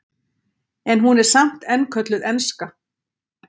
En hún er samt enn kölluð enska.